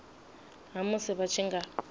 ha musi vha tshi nga